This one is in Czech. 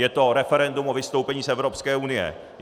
Je to referendum o vystoupení z Evropské unie.